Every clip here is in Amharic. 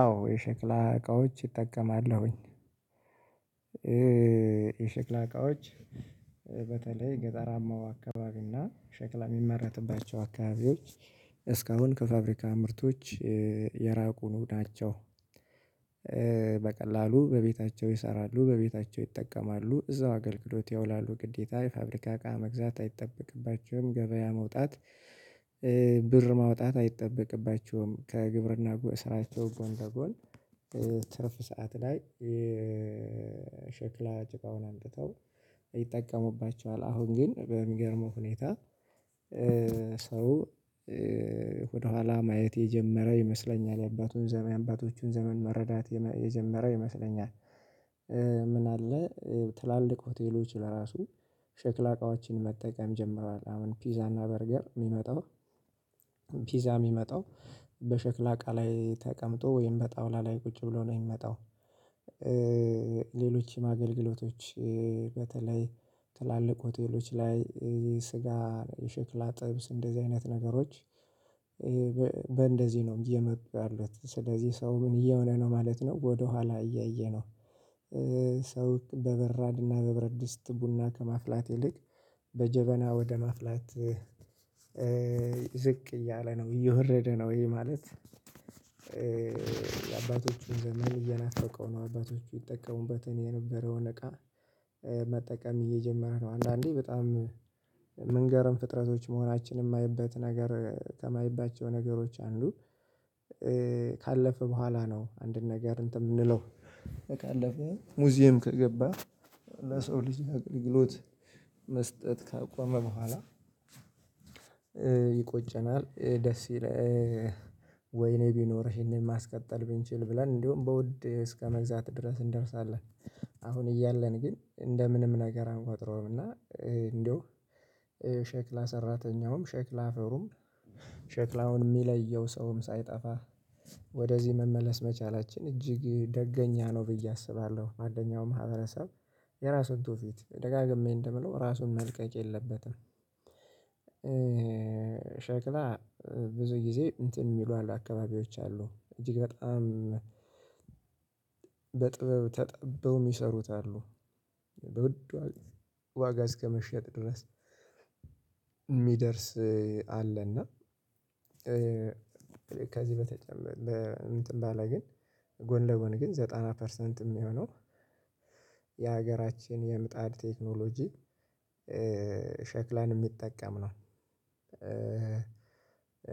አዎ የሸክላ እቃዎች እጠቀማለሁኝ። የሸክላ እቃዎች በተለይ ገጠራማው አካባቢ እና ሸክላ የሚመረትባቸው አካባቢዎች እስካሁን ከፋብሪካ ምርቶች የራቁ ናቸው። በቀላሉ በቤታቸው ይሰራሉ በቤታቸው ይጠቀማሉ እዛው አገልግሎት ያውላሉ ግዴታ የፋብሪካ እቃ መግዛት አይጠበቅባቸውም ገበያ መውጣት ብር ማውጣት አይጠበቅባቸውም ከግብርና ስራቸው ጎን በጎን። ትርፍ ሰዓት ላይ ሸክላ ጭቃውን አምጥተው ይጠቀሙባቸዋል። አሁን ግን በሚገርመው ሁኔታ ሰው ወደኋላ ማየት የጀመረ ይመስለኛል የአባቱን የአባቶቹን ዘመን መረዳት የጀመረ ይመስለኛል። ምን አለ ትላልቅ ሆቴሎች ለራሱ ሸክላ እቃዎችን መጠቀም ጀምሯል። አሁን ፒዛ እና በርገር የሚመጣው ፒዛ የሚመጣው በሸክላ አቃ ላይ ተቀምጦ ወይም በጣውላ ላይ ቁጭ ብሎ ነው የሚመጣው። ሌሎች ማገልገሎቶች በተለይ ትላልቅ ሆቴሎች ላይ የስጋ የሽክላ ጥብስ እንደዚህ አይነት ነገሮች። በእንደዚህ ነው እየመጡ ያሉት ስለዚህ ሰው ምን እየሆነ ነው ማለት ነው ወደኋላ እያየ እያየነው። ሰው በበራድና በብረት ድስት ቡና ከማፍላት ይልቅ በጀበና ወደ ማፍላት ዝቅ እያለ ነው እየወረደ ነው ይሄ ማለት። የአባቶቹን ዘመን እየናፈቀው ነው አባቶቹ ይጠቀሙበት የነበረውን እቃ መጠቀም እየጀመረ ነው። አንዳንዴ በጣም የምንገርም ፍጥረቶች መሆናችንን የማየበት ነገር ከማይባቸው ነገሮች አንዱ። ካለፈ በኋላ ነው አንድን ነገር እንትን የምንለው በቃ አለፈው ሙዚየም ከገባ ለሰው ልጅ አቅልግሎት መስጠት ካቆመ በኋላ። ይቆጨናል ደስ ይለህ ወይኔ ቢኖርህ ይሄንን ማስቀጠል ብንችል ብለን እንዲሁም በውድ እስከመግዛት ድረስ እንደርሳለን። አሁን እያለን ግን እንደ ምንም ነገር አንቆጥረውም እና እንደው ሸክላ ሰራተኛውም ሸክላ አፈሩም ሼክላውን የሚለየው ሰውም ሳይጠፋ ወደዚህ መመለስ መቻላችን እጅግ ደገኛ ነው ብዬ አስባለሁ። አንደኛው ማህበረሰብ የራሱን ትውፊት ደጋግሜ እንደምለው ራሱን መልቀቅ የለበትም። ሸክላ ብዙ ጊዜ እንትን የሚሉ አሉ አካባቢዎች አሉ እጅግ በጣም በጥበብ ተጠብበው የሚሰሩት አሉ። በውድ ዋጋ እስከመሸጥ ድረስ የሚደርስ አለ። እና ከዚህ በተጨመረ እንትን ባለ ግን ጎን ለጎን ግን ዘጠና ፐርሰንት የሚሆነው የሀገራችን የምጣድ ቴክኖሎጂ ሸክላን የሚጠቀም ነው።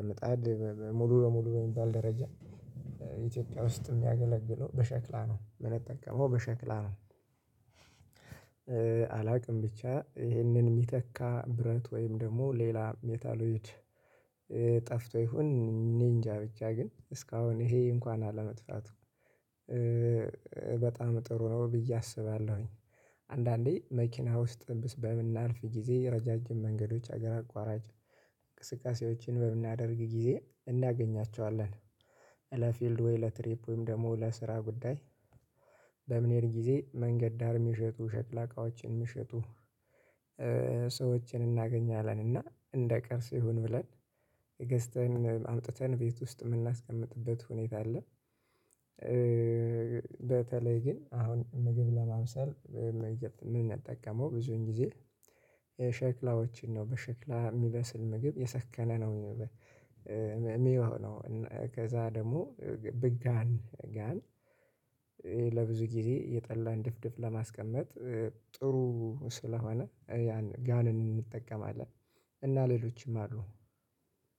ምጣድ ሙሉ በሙሉ በሚባል ደረጃ የኢትዮጵያ ውስጥ የሚያገለግለው በሸክላ ነው የሚጠቀመው በሸክላ ነው። አላውቅም ብቻ ይህንን የሚተካ ብረት ወይም ደግሞ ሌላ ሜታሎይድ ጠፍቶ ይሁን እኔ እንጃ ብቻ ግን እስካሁን ይሄ እንኳን አለመጥፋቱ በጣም ጥሩ ነው ብዬ አስባለሁኝ። አንዳንዴ መኪና ውስጥ በምናልፍ ጊዜ ረዣዥም መንገዶች ሀገር አቋራጭ እንቅስቃሴዎችን በምናደርግ ጊዜ እናገኛቸዋለን። ለፊልድ ወይ ለትሪፕ ወይም ደግሞ ለስራ ጉዳይ በምንሄድ ጊዜ መንገድ ዳር የሚሸጡ ሸክላ እቃዎችን የምሸጡ ሰዎችን እናገኛለን እና እንደ ቅርስ ይሁን ብለን ገዝተን አምጥተን ቤት ውስጥ የምናስቀምጥበት ሁኔታ አለ። በተለይ ግን አሁን ምግብ ለማብሰል ምን እንጠቀመው ብዙን ጊዜ የሸክላዎችን ነው በሸክላ የሚበስል ምግብ የሰከነ ነው። የሚሆነው ከዛ ደግሞ በጋን ጋን ለብዙ ጊዜ የጠላን ድፍድፍ ለማስቀመጥ ጥሩ ስለሆነ ያን ጋን እንጠቀማለን። እና ሌሎችም አሉ።